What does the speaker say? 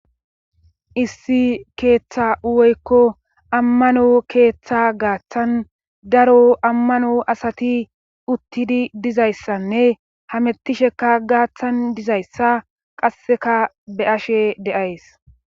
Issi keeththa woykko ammano keeththa gaaththan daro ammano asati uttidi dizayssanne hamettisheka gaaththan dizayssa qasseka be ashe deays